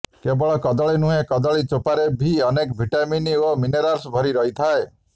କେବଳ କଦଳୀ ନୁହେଁ କଦଳୀ ଚୋପାରେ ବି ଅନେକ ଭିଟାମିନ୍ ଓ ମିନେରାଲ୍ସ ଭରି ରହିଥାଏ